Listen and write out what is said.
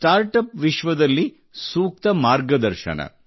startup ವಿಶ್ವದಲ್ಲಿ ಸೂಕ್ತ ಮಾರ್ಗದರ್ಶನ